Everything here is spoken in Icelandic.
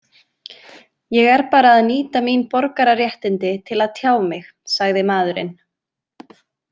Ég er bara að nýta mín borgararéttindi til að tjá mig, sagði maðurinn.